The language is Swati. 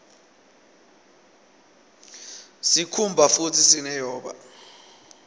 sikhumba futdi sine boya